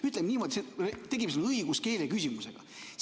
Ütleme niimoodi, et tegemist on õiguskeeleküsimustega.